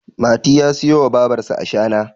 mati ya siyo wa babarsa ashana